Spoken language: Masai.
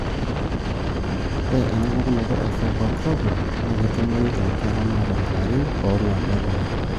Ore ena pukunoto e fibrosarcoma na ketumoyu tonkera naata ilarin onguan nedoyio,